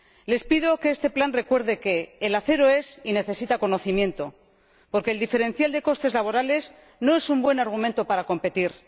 Les pido que este plan recuerde que el acero es y necesita conocimiento, porque el diferencial de costes laborales no es un buen argumento para competir.